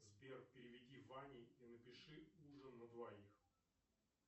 сбер переведи ване и напиши ужин на двоих